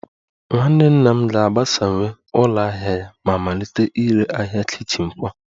Nwanne nna m ga-agbasawanye ụlọ ahịa ya ma malite ire arịa kichin kwa